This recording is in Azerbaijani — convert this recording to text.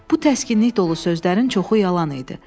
Bu təskinlik dolu sözlərin çoxu yalan idi.